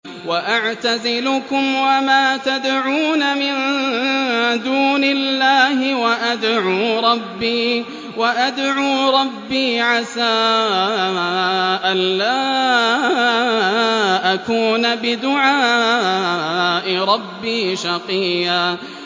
وَأَعْتَزِلُكُمْ وَمَا تَدْعُونَ مِن دُونِ اللَّهِ وَأَدْعُو رَبِّي عَسَىٰ أَلَّا أَكُونَ بِدُعَاءِ رَبِّي شَقِيًّا